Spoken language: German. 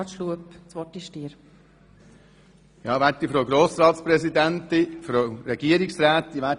Ich gebe gerne dem Antragssteller das Wort.